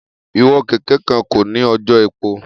Iwọn keke kan ko ni ojò epo.